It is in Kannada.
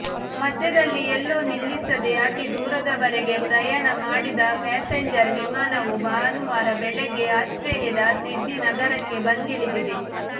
ಮಧ್ಯದಲ್ಲಿ ಎಲ್ಲೂ ನಿಲ್ಲಿಸದೇ ಅತಿ ದೂರದವರೆಗೆ ಪ್ರಯಾಣ ಮಾಡಿದ ಪ್ಯಾಸೆಂಜರ್ ವಿಮಾನವು ಭಾನುವಾರ ಬೆಳಿಗ್ಗೆ ಆಸ್ಟ್ರೇಲಿಯಾದ ಸಿಡ್ನಿ ನಗರಕ್ಕೆ ಬಂದಿಳಿದಿದೆ